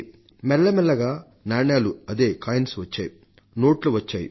మెల్లమెల్లగా నాణేలు అదే కాయిన్స్ వచ్చాయి నోట్లు వచ్చాయి